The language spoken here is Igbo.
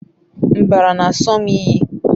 mbara n'aso m iyi